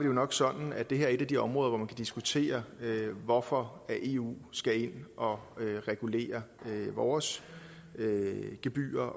jo nok sådan at det her er et af de områder hvor man kan diskutere hvorfor eu skal ind og regulere vores gebyrer